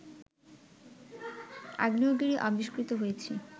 আগ্নেয়গিরি আবিষ্কৃত হয়েছে